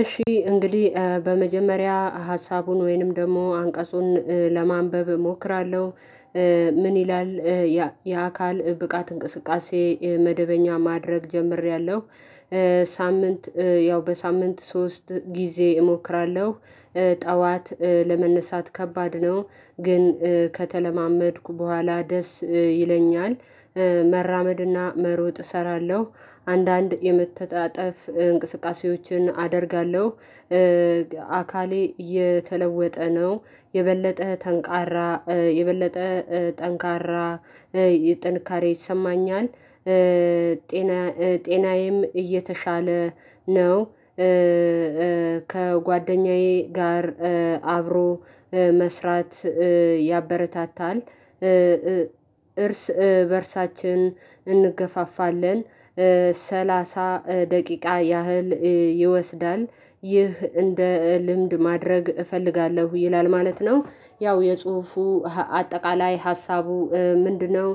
እሺ እንግዲህ በመጀመሪያ ሀሳቡን ወይንም ደግሞ አንቀጹን ለማንበብ እሞክራለሁ። ምን ይላል? የአካል ብቃት እንቅስቃሴ መደበኛ ማድረግ ጀምሬያለሁ። ሳምንት ያው በሳምንት ሶስት ጊዜ እሞክራለሁ። ጠዋት ለመነሳት ከባድ ነው ግን ከተለማመድኩ በኋላ ደስ ይለኛል። መራመድና መሮጥ እሰራለሁ አንዳንድ የመተጣጠፍ እንቅስቃሴዎችን አደርጋለሁ። አካሌ የተለወጠ ነው የበለጠ ተንቃራ የበለጠ ጠንካራ ጥንካሬ ይሰማኛል። ጤና ጤናዬም እየተሻለ ነው። ከጓደኛዬ ጋር አብሮ መስራት ያበረታታል። እርስ በእርሳችን እንገፋፋለን። ሰላሳ ደቂቃ ያህል ይወስዳል ይህ እንደ ልምድ ማድረግ እፈልጋለሁ ይላል ማለት ነው። ያው የጽሁፉ አጠቃላይ ሀሳቡ ምንድነው?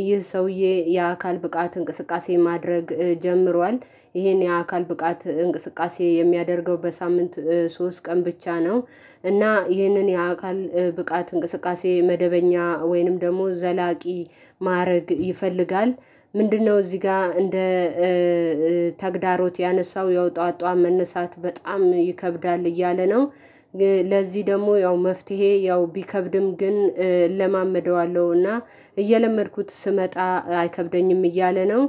ይህ ሰውዬ የአካል ብቃት እንቅስቃሴ ማድረግ ጀምሯል። ይሄን የአካል ብቃት እንቅስቃሴ የሚያደርገው በሳምንት ሶስት ቀን ብቻ ነው። እና ይህንን የአካል ብቃት እንቅስቃሴ መደበኛ ወይንም ደግሞ ዘላቂ ማረግ ይፈልጋል። ምንድነው እዚህ ጋር እንደ ተግዳሮት ያነሳው ያው ጠዋት ጠዋት መነሳት በጣም ይከብዳል እያለ ነው። ለዚህ ደግሞ ያው መፍትሄ ያው ቢከብድም ግን እለማመደዋለሁና እየለመድኩት ስመጣ አይከብደኝም እያለ ነው።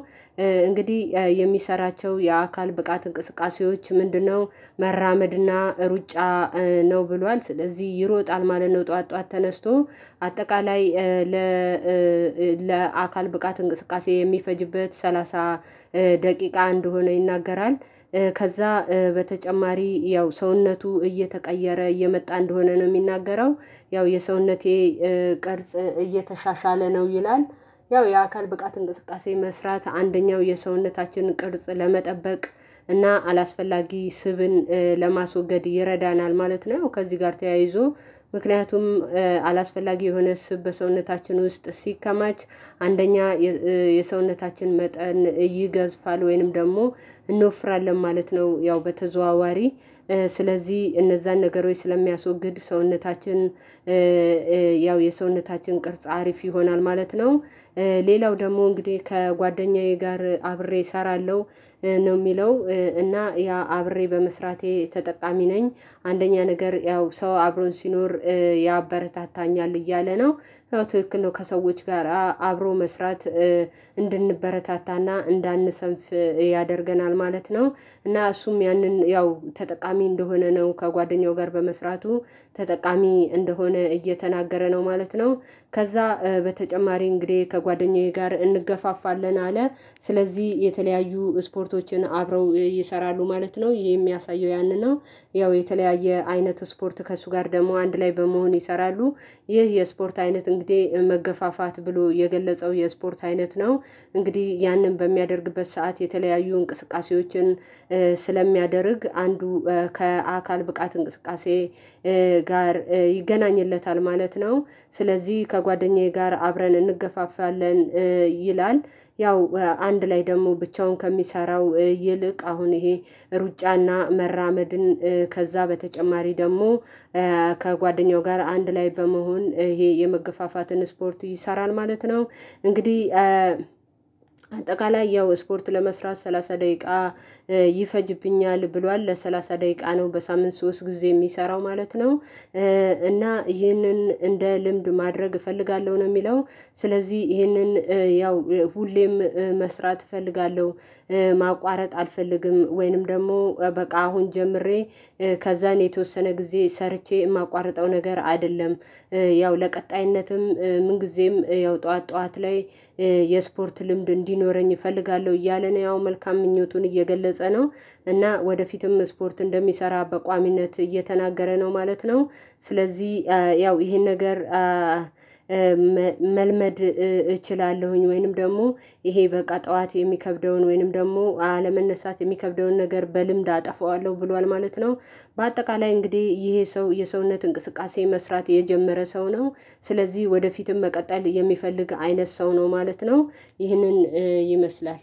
እንግዲህ የሚሰራቸው የአካል ብቃት እንቅስቃሴዎች ምንድነው? መራመድና ሩጫ ነው ብሏል ስለዚህ ይሮጣል ማለት ነው። ጠዋት ጠዋት ተነስቶ አጠቃላይ ለ ለአካል ብቃት እንቅስቃሴ የሚፈጅበት ሰላሳ ደቂቃ አንደ ሆኖ ይናገራል። ከዛ በተጨማሪ ያው ሰውነቱ እየተቀየረ እየመጣ እንደሆነ ነው የሚናገረው ያው የሰውነቴ ቅርጽ እየተሻሻለ ነው ይላል። ያው የአካል ብቃት እንቅስቃሴ መስራት አንደኛው የሰውነታችንን ቅርጽ ለመጠበቅ እና አላስፈላጊ ስብን ለማስወገድ ይረዳናል ማለት ነው። ከዚህ ጋር ተያይዞ ምክንያቱም አላስፈላጊ የሆነ ስብ በሰውነታችን ውስጥ ሲከማች አንደኛ የሰውነታችን መጠን ይገዝፋል ወይንም ደግሞ እንወፍራለን ማለት ነው። ያው በተዘዋዋሪ ስለዚህ እነዛን ነገር ስለሚያስወግድ ሰውነታችን ያው የሰውነታችን ቅርጽ አሪፍ ይሆናል ማለት ነው። ሌላው ደግሞ እንግዲህ ከጓደኛዬ ጋር አብሬ እሰራለሁ ነው የሚለው እና ያ አብሬ በመስራቴ ተጠቃሚ ነኝ። አንደኛ ነገር ያው ሰው አብሮን ሲኖር ያበረታታኛል እያለ ነው። ትክክል ነው ከሰዎች ጋራ አብሮ መስራት እንድንበረታታና እንዳንሰንፍ ያደርገናል ማለት ነው። እና እሱም ያንን ያው ተጠቃሚ እንደሆነ ነው ከጓደኛው ጋር በመስራቱ ተጠቃሚ እንደሆነ እየተናገረ ነው ማለት ነው። ከዛ በተጨማሪ እንግዲህ ከጓደኛዬ ጋር እንገፋፋለን አለ ስለዚህ የተለያዩ ስፖርቶችን አብረው ይሰራሉ ማለት ነው የሚያሳየው ያንን ነው። ያው የተለያየ አይነት ስፖርት ከእሱ ጋር ደግሞ አንድ ላይ በመሆን ይሰራሉ ይህ የስፖርት አይነት እንግዲህ መገፋፋት ብሎ የገለጸው የስፖርት አይነት ነው። እንግዲህ ያንን በሚያደርግበት ሰዓት የተለያዩ እንቅስቃሴዎችን ስለሚያደርግ አንዱ ከአካል ብቃት እንቅስቃሴ ጋር ይገናኝለታል ማለት ነው። ስለዚህ ከጓደኛዬ ጋር አብረን እንገፋፋለን ይላል። ያው አንድ ላይ ደግሞ ብቻውን ከሚሰራው ይልቅ አሁን ይሄ ሩጫና መራመድን ከዛ በተጨማሪ ደግሞ ከጓደኛው ጋር አንድ ላይ በመሆን ይሄ የመገፋፋትን ስፖርት ይሰራል ማለት ነው። እንግዲህ አጠቃላይ ያው ስፖርት ለመስራት ሰላሳ ደቂቃ ይፈጅብኛል ብሏል ለሰላሳ ደቂቃ ነው በሳምንት ሶስት ጊዜ የሚሰራው ማለት ነው። እና ይህንን እንደ ልምብ ማድረግ እፈልጋለሁ ነው የሚለው። ስለዚህ ይሄንን ያው ሁሌም መስራት እፈልጋለሁ። ማቋረጥ አልፈልግም ወይንም ደግሞ በቃ አሁን ጀምሬ ከዛን የተወሰነ ጊዜ ሰርቼ የማቋርጠው ነገር አይደለም። ያው ለቀጣይነትም ምን ጊዜም ያው ጠዋት ጠዋት ላይ የስፖርት ልምድ እንዲኖረኝ እፈልጋለሁ እያለ ነው ያው መልካም ምኞቱን እየገለጸ ነው። እና ወደፊትም ስፖርት እንደሚሰራ በቋሚነት እየተናገረ ነው ማለት ነው። ስለዚህ ያው ይሄን ነገር መልመድ እችላለሁኝ ወይንም ደግሞ ይሄ በቃ ጠዋት የሚከብደውን ወይንም ደግሞ አለመነሳት የሚከብደውን ነገር በልምድ አጠፋዋለሁ ብሏል ማለት ነው። በአጠቃላይ እንግዲህ ይሄ ሰው የሰውነት እንቅስቃሴ መስራት የጀመረ ሰው ነው። ስለዚህ ወደፊትም መቀጠል የሚፈልግ አይነት ሰው ነው ማለት ነው። ይህንን ይመስላል።